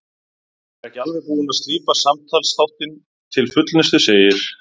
Ég er ekki alveg búinn að slípa samtalsþáttinn til fullnustu, segir